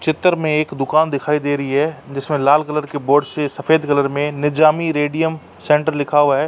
चित्र में एक दुकान दिखाई दे रही है। जिसमे लाल कलर के बोर्ड से सफ़ेद कलर में निजामी रेडियम सेन्टर लिखा हुआ है।